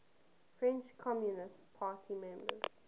french communist party members